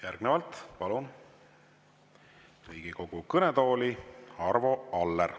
Järgnevalt palun Riigikogu kõnetooli Arvo Alleri.